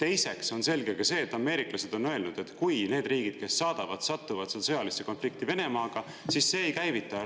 Teiseks on selge ka see, et ameeriklased on öelnud, et kui need riigid, kes saadavad, satuvad seal sõjalisse konflikti Venemaaga, siis see ei käivita